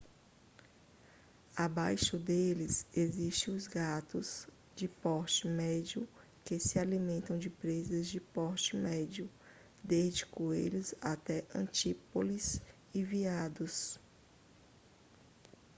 abaixo deles existem os gatos de porte médio que se alimentam de presas de porte médio desde coelhos até antílopes e veados